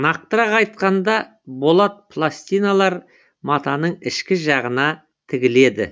нақтырақ айтқанда болат пластиналар матаның ішкі жағына тігіледі